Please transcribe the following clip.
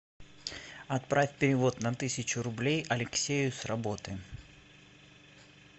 отправь перевод на тысячу рублей алексею с работы